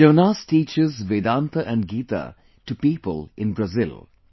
Jonas teaches Vedanta & Geeta to people in Brazil